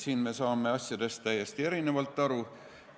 Siin me saame asjadest täiesti erinevalt aru.